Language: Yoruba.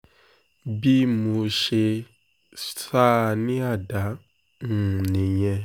bí mo ṣe sá a ní àdá um nìyẹn